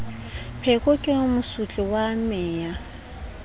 pheko ke mosotli wa meya